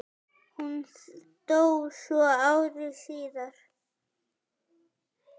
Hún dó svo ári síðar.